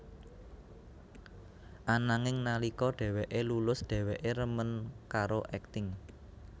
Ananging nalika dheweké lulus dheweké remen karo akting